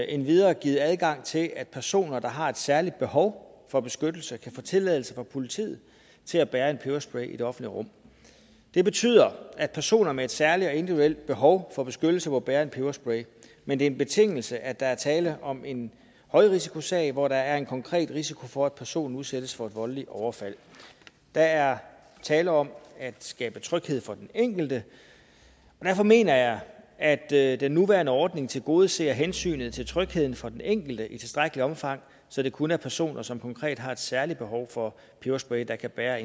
endvidere givet adgang til at personer der har et særligt behov for beskyttelse kan få tilladelse fra politiet til at bære en peberspray i det offentlige rum det betyder at personer med et særligt og individuelt behov for beskyttelse må bære en peberspray men det er en betingelse at der er tale om en højrisikosag hvor der er en konkret risiko for at personen udsættes for et voldeligt overfald der er tale om at skabe tryghed for den enkelte derfor mener jeg at at den nuværende ordning tilgodeser hensynet til trygheden for den enkelte i tilstrækkeligt omfang så det kun er personer som konkret har et særligt behov for peberspray der kan bære